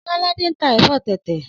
Ọlọ́ládé ń tà ẹ̀fọ́ tẹ̀tẹ̀